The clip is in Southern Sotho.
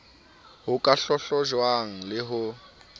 ho ka hlahlojwang le ho